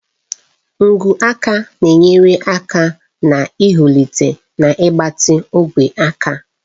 Ngwu aka na-enyere aka n'ihulata na ịgbatị ogwe aka.